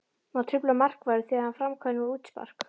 Má trufla markvörð þegar hann framkvæmir útspark?